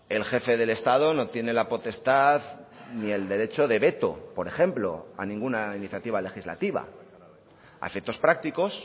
el jefe del estado no tiene la potestad ni el derecho de veto por ejemplo a ninguna iniciativa legislativa a efectos prácticos